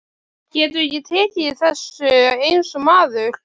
Geturðu ekki tekið þessu eins og maður?